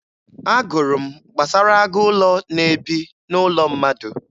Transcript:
Agụrụ m gbasara agụ ụlọ na-ebi n'ụlọ mmadụ.